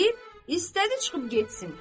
Deyib, istədi çıxıb getsin.